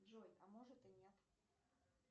джой а может и нет